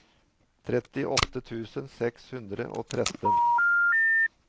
trettiåtte tusen seks hundre og tretten